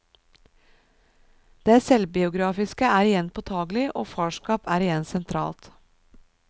Det selvbiografiske er igjen påtagelig, og farskap er igjen sentralt.